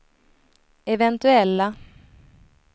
eventuella